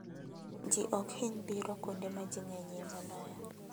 Ji ok hiny biro kuonde ma ji ng'enyie moloyo.